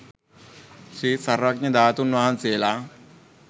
ශ්‍රී සර්වඥ ධාතුන් වහන්සේලා